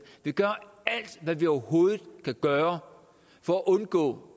vil gøre alt hvad vi overhovedet kan gøre for at undgå